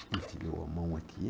Enfiou a mão aqui.